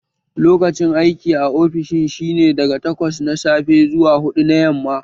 Lokacin aiki a ofishin shi ne daga takwas na safe zuwa huɗu na yamma